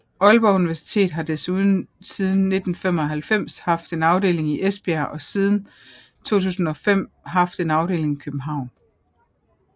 Aalborg Universitet har desuden siden 1995 haft en afdeling i Esbjerg og siden 2005 haft en afdeling i København